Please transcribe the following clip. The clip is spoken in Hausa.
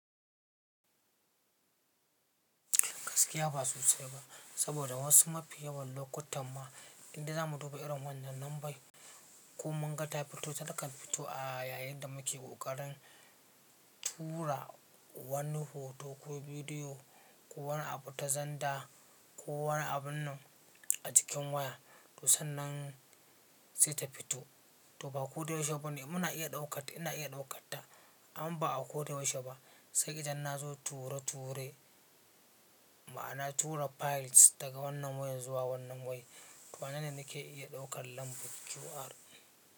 Gaskiya ba su sirri ba, saboda wasu mafi yawan lokutan ma inda za mu duba irin wannan lambar ko mun gata fito, takan fito a yayin da muke ƙoƙarin tura wani hoto ko bidiyo ko wani abu ta zanda ko wani abun a jikin waya. To sannan sai ta fito. To ba ko da yaushe bane muna iya ɗaukata, ina iya ɗaukata amma ba a ko da yaushe ba. Sai idan na zo tura turai ma'ana tura files daga wannan wayar zuwa wannan wani. To wannan ne da ke iya ɗaukar lambar QR.